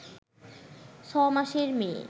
ছ’মাসের মেয়ে